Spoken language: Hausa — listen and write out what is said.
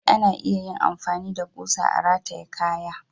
Amma dai ana iya yin amfani da kusa a rataye kaya.